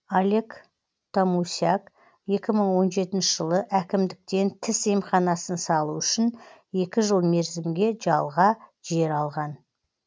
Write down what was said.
олег томусяк екі мың он жетінші жылы әкімдіктен тіс емханасын салу үшін екі жыл мерзімге жалға жер алған